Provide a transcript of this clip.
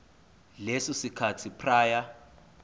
leso sikhathi prior